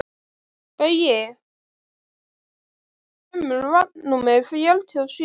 Baui, hvenær kemur vagn númer fjörutíu og sjö?